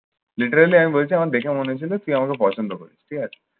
literally আমি বলছি আমার দেখে মনে হয়েছিল তুই আমাকে পছন্দ করিস। ঠিক আছে।